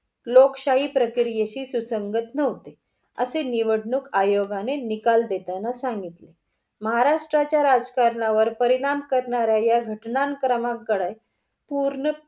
लोकशाही प्रक्रियेची सुसंगत नव्हते असे निवडणूक आयोगाने निकाल देताना सांगितले. महाराष्ट्र्याच्या राजकारणावर परिणाम करणाऱ्या या घटनां क्रमांक कडे पूर्ण